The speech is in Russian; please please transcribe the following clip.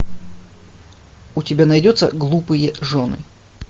у тебя найдется глупые жены